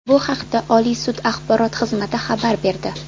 Bu haqda Oliy sud Axborot xizmati xabar berdi .